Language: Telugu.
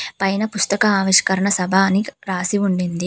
పైన పుస్తక ఆవిష్కరణ సభ అని రాసి ఉండింది.